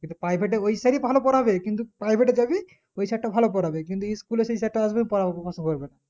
কিন্তু private এ ওই sir ই ভালো পোড়াবে কিন্তু private এর তা কি ওই sir টা ভালো পোড়াবে কিন্তু school এর টা যাতে আসবে